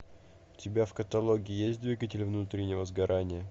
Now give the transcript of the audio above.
у тебя в каталоге есть двигатель внутреннего сгорания